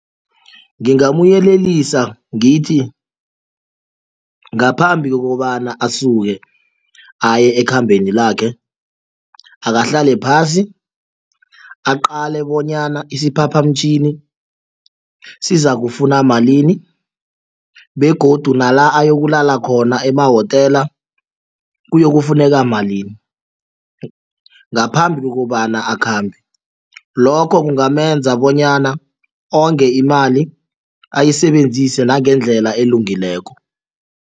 Ngingamuyelelisa ngithi ngaphambi kokobana asuke aye ekhambeni lakhe akahlale phasi aqale bonyana isiphaphamtjhini sizakufuna malini begodu nala ayokulala khona emawotela kuyokufuneka malini ngaphambi kokobana akhambe lokho kungamenza bonyana onge imali ayisebenzise nangendlela elungileko.